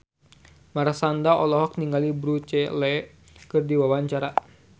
Marshanda olohok ningali Bruce Lee keur diwawancara